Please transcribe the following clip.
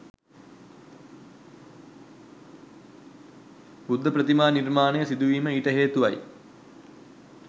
බුද්ධ ප්‍රතිමා නිර්මාණ සිදුවීම ඊට හේතුවයි.